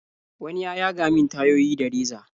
wani ya yaga min tayoyi da reza.